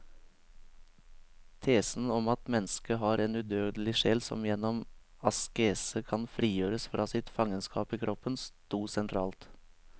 Tesen om at mennesket har en udødelig sjel som gjennom askese kan frigjøres fra sitt fangenskap i kroppen, stod sentralt.